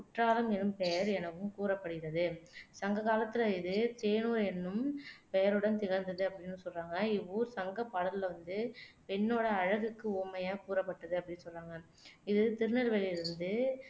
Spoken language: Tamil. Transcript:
குற்றாலம் எனும் பெயர் எனவும் கூறப்படுகிறது சங்ககாலத்தில இது தேனூர் என்னும் பெயருடன் திகழ்ந்தது அப்படின்னு சொல்றாங்க இவ்வூர் சங்கப் பாடல்கள்ல வந்து பெண்ணோட அழகுக்கு உவமையா கூறப்பட்டது அப்படின்னு சொல்றாங்க இது திருநெல்வேலியிலிருந்து